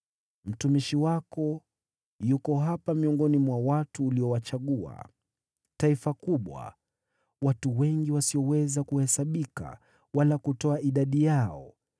Mtumishi wako yuko hapa miongoni mwa watu uliowachagua: taifa kubwa, watu wengi wasioweza kuhesabika wala kutoa idadi yao.